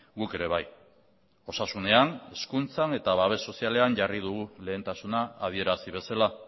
guk ere bai osasunean hezkuntzan eta babes sozialean jarri dugu lehentasuna adierazi bezala